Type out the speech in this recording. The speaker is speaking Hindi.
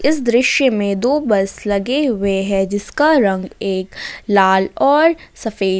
इस दृश्य में दो बस लगे हुए हैं जिसका रंग एक लाल और सफेद--